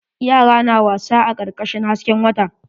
Yara na wasa a karkashin hasken wata.